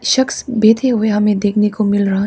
शख्स बैठे हुए हमें देखने को मिल रहा है।